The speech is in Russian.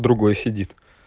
другой сидит